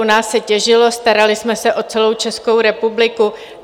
u nás se těžilo, starali jsme se o celou Českou republiku.